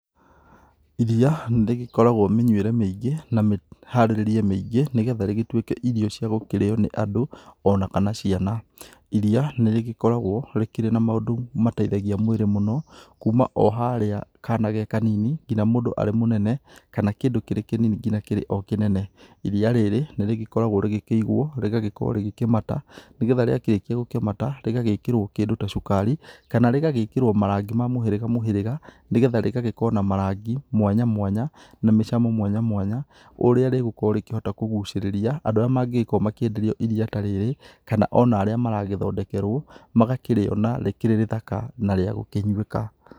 Ĩriya nĩ rĩgĩkoragwo mĩnyuĩre mĩingĩ na mĩharĩrĩrie mĩingĩ nĩgetha rĩgĩtuĩke irio cia gũkĩrĩyo nĩ andũ ona kana ciana. Ĩriya nĩrĩ gĩkoragwo rĩkĩrĩ na maũndũ mateithagia mwĩrĩ mũno kuma o harĩa kana ge kanini ngina mũndũ arĩ mũnene kana kĩndũ kĩrĩ kĩnini ngina kĩrĩa o kĩnene. Ĩriya rĩrĩa nĩ rĩgĩkoragwo rĩgĩkĩigwo rĩgagĩkorwo rĩgĩkĩmata, nĩgetha rĩakĩrĩkia gũkĩmata rĩgagĩkĩrwo kĩndũ ta cukari kana rĩgagĩkĩrwo marangi ma mũhĩrĩga mũhĩrĩga nĩgetha rĩgagĩkorwo na marangi mwanya mwanya na mĩcamo mwanya mwanya ũrĩa rĩgũkorwo rĩa kũgucĩrĩria andũ arĩa mangĩgĩkorwo makĩenderio ĩriya ta rĩrĩa kana ona kana arĩa maragĩthondekerwo magakĩrĩona rĩkĩrĩ rĩthaka na rĩa gũkĩnyuĩka.